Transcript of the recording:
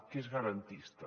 que és garantista